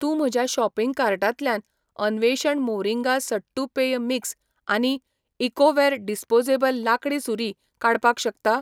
तूं म्हज्या शॉपिंग कार्टांतल्यान अन्वेषण मोरिंगा सट्टू पेय मिक्स आनी इकोवेयर डिस्पोजेबल लांकडी सुरी काडपाक शकता?